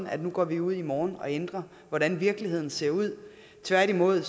at nu går vi ud i morgen og ændrer hvordan virkeligheden ser ud tværtimod